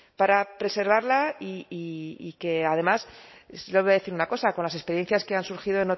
para preservarla y que además lo voy a decir una cosa con las experiencias que han surgido